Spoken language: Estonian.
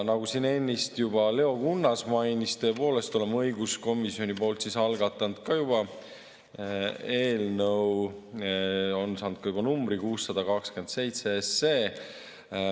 Nagu siin Leo Kunnas mainis, tõepoolest, oleme õiguskomisjonis juba algatanud eelnõu, see on saanud ka numbri – 627 SE.